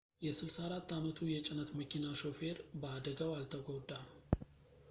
የ 64 ዓመቱ የጭነት መኪና ሾፌር በአደጋው አልተጎዳም